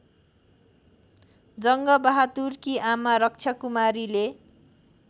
जङ्गबहादुरकी आमा रक्षाकुमारीले